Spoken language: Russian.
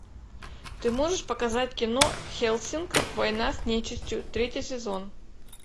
ты можешь показать кино хеллсинг война с нечистью третий сезон